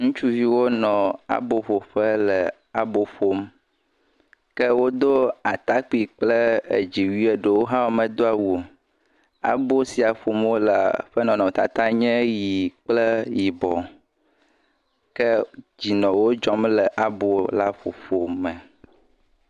Ŋutsuviwo nɔ aboƒoƒe nɔ abo ƒom, ke wodo atakpui kple dziwui ke ɖewo hã womedo awu o,abo sia ƒom wole ƒe nɔnɔmetata nye ʋɛ̃ kple yibɔ ke dzi nɔ wo dzɔm le abo la ƒoƒo me.